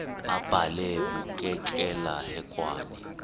abhalwe bukekela hekwane